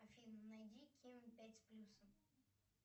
афина найди ким пять с плюсом